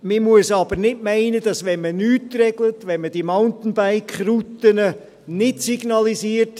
Man muss aber nicht meinen, dass dieses Problem gelöst wird, wenn man nichts regelt, wenn man diese Mountainbike-Routen nicht signalisiert.